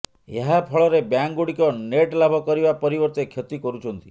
ଏହାଫଳରେ ବ୍ୟାଙ୍କଗୁଡ଼ିକ ନେଟ୍ ଲାଭ କରିବା ପରିବର୍ତ୍ତେ କ୍ଷତି କରୁଛନ୍ତି